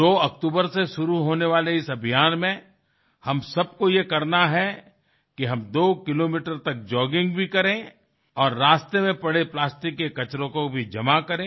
2 अक्टूबर से शुरू होने वाले इस अभियान में हम सबको ये करना है कि हम 2 किलोमीटर तक जॉगिंग भी करें और रास्ते में पड़े प्लास्टिक के कचरों को भी जमा करे